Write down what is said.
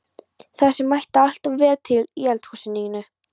Það sem ætti alltaf að vera til í eldhúsinu þínu!